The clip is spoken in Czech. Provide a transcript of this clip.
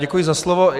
Děkuji za slovo.